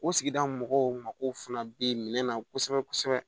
O sigida mɔgɔw mako fana bɛ minɛ kosɛbɛ kosɛbɛ